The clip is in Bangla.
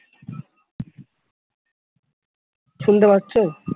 শুনতে পাচ্ছো?